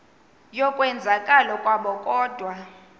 yokwenzakala kwabo kodwa